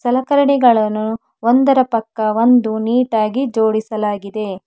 ಸಲಕರಣೆಗಳನ್ನು ಒಂದರ ಪಕ್ಕ ಒಂದು ನೀಟಾಗಿ ಜೋಡಿಸಲಾಗಿದೆ.